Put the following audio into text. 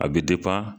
A bɛ